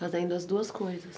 Fazendo as duas coisas?